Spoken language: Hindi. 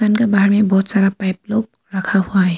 दुकान के बाहर भी बहुत सारा पाइप लोग रखा हुआ है।